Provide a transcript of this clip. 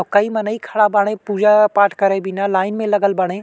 औ कई मनई खड़ा बाड़े। पूजा पाठ करे बिना लाइन में लगल बाड़े।